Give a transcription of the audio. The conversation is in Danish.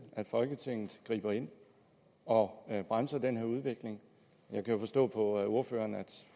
at folketinget griber ind og bremser den her udvikling jeg kan jo forstå på ordføreren at